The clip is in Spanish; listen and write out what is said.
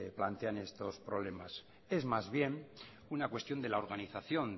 plantean estos problemas es más bien una cuestión de la organización